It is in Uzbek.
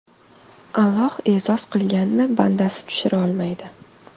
Alloh e’zoz qilganni bandasi tushira olmaydi.